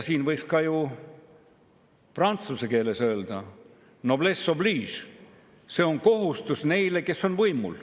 Siin võiks ka ju prantsuse keeles öelda noblesse oblige – see on kohustus neile, kes on võimul.